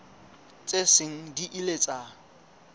tse seng di ile tsa